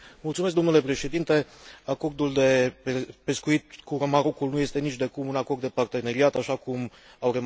Acordul de pescuit cu Marocul nu este nicidecum un acord de parteneriat, așa cum au remarcat toți ceilalți colegi.